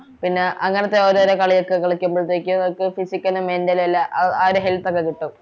പിന്ന അങ്ങനത്തെ ഓരോരോ കളിയൊക്കെ കളിയ്ക്കുബോളത്തേക്ക് ഇപ്പൊ physical ഉം mental ലും എല്ലാം ആരെ ഹെയ്ൽതൊക്കെ കിട്ടും